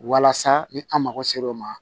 Walasa ni an mago sera o ma